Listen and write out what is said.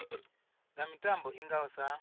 nga mitambo i ngaho sa